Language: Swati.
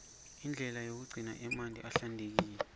indlela yokugcina amanti ahlantekile